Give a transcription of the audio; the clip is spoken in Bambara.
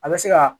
A bɛ se ka